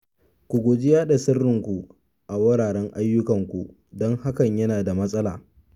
Ku guji yaɗa sirrinku a wuraren ayyukanku don hakan yana da matsala